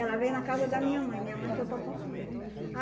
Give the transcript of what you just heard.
Ela veio na casa da minha mãe, minha mãe foi para Porto Velho.